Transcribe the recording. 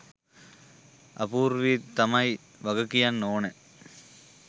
අපූර්වී තමයි වග කියන්න ඕන